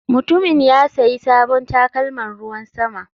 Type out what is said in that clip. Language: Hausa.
Mutumin ya sayi sabon takalman ruwan sama.